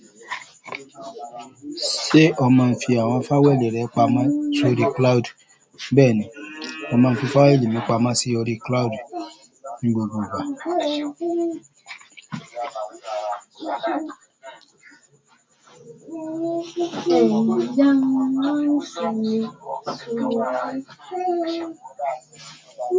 Ṣé ó máa ń fi àwọn fáílì rẹ pamọ́ sórí cloud? Bẹ́ẹ̀ ni, ó máa ń fi fáílì mi pamọ́ sórí cloud ní gbogbo ìgbà.